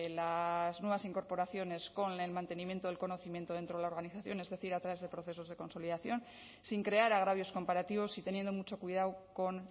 las nuevas incorporaciones con el mantenimiento del conocimiento dentro de la organización es decir a través de procesos de consolidación sin crear agravios comparativos y teniendo mucho cuidado con